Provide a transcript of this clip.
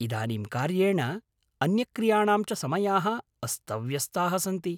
इदानीं कार्येण, अन्यक्रियाणां च समयाः अस्तव्यस्ताः सन्ति।